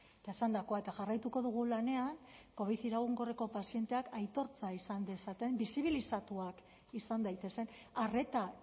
eta esandakoa eta jarraituko dugu lanean covid iraunkorreko pazienteak aitortza izan dezaten bizibilizatuak izan daitezen arreta